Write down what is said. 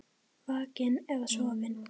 Vakinn eða sofinn.